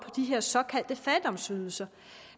de her såkaldte fattigdomsydelser